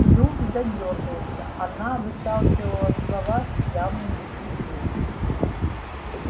клюв задёргался она выталкивала слова с явным усилием